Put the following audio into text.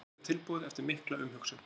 Liðið er tilbúið eftir mikla umhugsun.